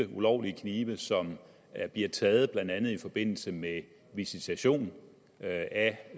ulovlige knive som bliver taget blandt andet i forbindelse med visitation af